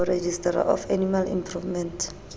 ho registrar of animal improvement